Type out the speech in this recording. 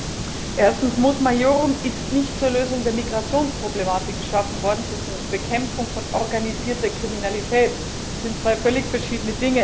Erstens Mos Maiorum ist nicht zur Lösung der Migrationsproblematik geschaffen worden, sondern zur Bekämpfung von organisierter Kriminalität. Das sind zwei völlig verschiedene Dinge.